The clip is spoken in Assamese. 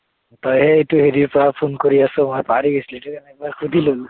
তই হে এইটো হেৰিৰ পৰা phone কৰি আছ, মই পাহৰি গৈছিলো, সেইটো কাৰনে একবাৰ সুধি ললো।